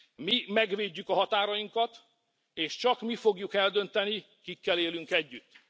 Mi megvédjük a határainkat, és csak mi fogjuk eldönteni, kikkel élünk együtt.